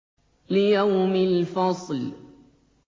لِيَوْمِ الْفَصْلِ